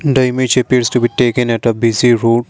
the image appears to be taken at a bc road.